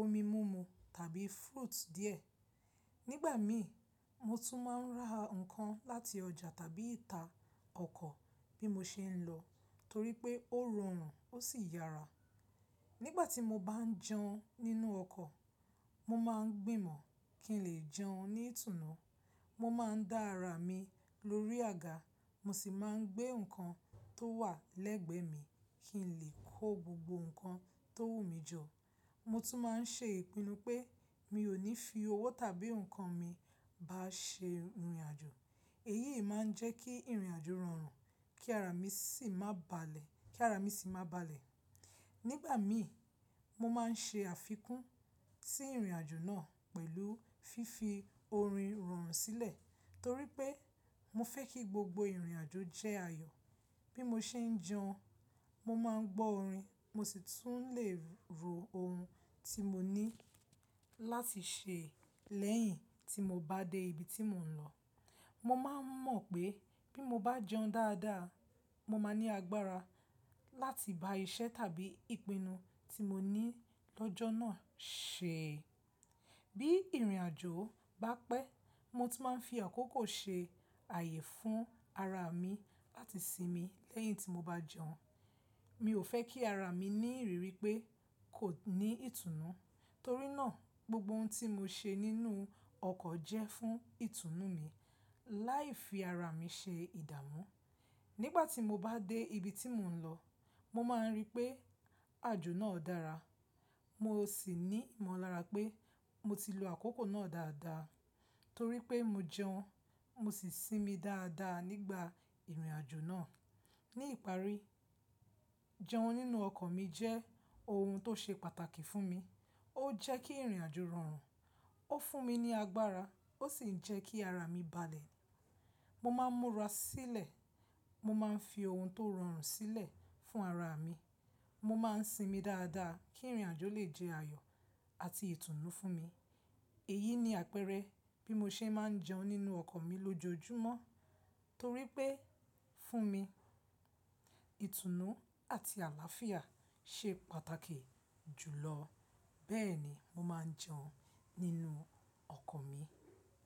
omi múmu tàbí fruit díẹ̀. Nígbà mìí, mo tún máa ń ra nǹkan láti ọjà tàbí ìta ọkọ̀ bí mo ṣe ń lọ, torí pé ó rọrùn, ó sì yara. Nígbà tí mo bá ń jẹun nínú ọkọ̀, mo máa ń gbìnmọ̀ kí n lè jẹun ní ìtùnú. Mo máa ń dá ara mi lórí àga, mo sì máa ń gbé nǹkan tó wà lẹ́gbẹ̀ẹ́ mi kí n lè kó gbogbo nǹkan tó wù mi jọ. Mo tún máa ń ṣe ìpinnu pé mi ò ní fi owó tàbí nǹkan mi bàá ṣe ìrìn-àjò. Èyí máa ń jẹ́ kí ìrìn-àjò rọrùn, kí ara mi sì má balẹ̀. Nígbà mìí, mo máa ń ṣe àfikún sí ìrìn-àjò náà pẹ̀lú fífi orin irọrùn sílẹ̀ torí pé mo fẹ́ kí gbogbo ìrìn-àjò jẹ́ ayọ̀. Bí mo ṣe ń jẹun, mo máa ń gbọ́ orin, mo sì tún lè ro ohun tí mo ní láti ṣe lẹ́yìn tí mo bá dé ibi tí mò ń lọ. Mo máa ń mọ̀ pé bí mo bá jẹun dáadáa, mo máa ní agbára láti gba iṣẹ́ tàbí ìpinnu tí mo ní lọ́jọ́ náà ṣe. Bí ìrìn-àjò bá pẹ́, mo tún máa ń fi àkókò ṣe ààyè fún ara mi láti sinmi lẹ́yìn tí mo bá jẹun. Mi ò fẹ́ kí ara mi ní rírí pé kò ní ìtùnú, torí náà gbogbo ohun tí mo ṣe nínú ọkọ̀ jẹ́ fún ìtùnú mi, láì fi ara mi ṣe ìdámu. Nígbà tí mo bá dé ibi tí mò ń lọ, mo máa ri pé àjò náà dára. Mo sì ní ìmọ̀lára pé mo ti lo àkókò náà dáadáa, torí pé mo jẹun, mo sì sinmi dáadáa nígbà ìrìn-àjò náà. Ní ìparí, jẹun nínú ọkọ̀ mi jẹ́ ohun tó ṣe pàtàkì fún mi. Ó jẹ́ kí ìrìn-àjò rọrùn, ó fún mi ní agbára, ó sì jẹ́ kí ara mi balẹ̀. Mo máa ń múra sílẹ̀, mo máa ń fi ohun tó rọrùn sílẹ̀ fún ara mi, mo máa ń sinmi dáadáa kí ìrìn-àjò lè jẹ́ ayọ̀ àti ìtùnú fún mi. Èyí ni àpẹẹrẹ bí mo ṣe máa ń jẹun nínú ọkọ̀ mi lójoojúmọ́, torí pé fún mi, ìtùnú àti àlàáfíà ṣe pàtàkì jùlọ. Bẹ́ẹ̀ni, mo máa ń jẹun nínú ọkọ̀ mi.